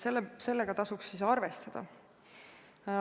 Sellega tasuks arvestada.